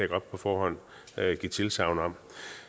godt på forhånd give tilsagn om